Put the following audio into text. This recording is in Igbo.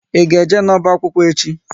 Ị ga eje n'ọba akwụkwọ echi?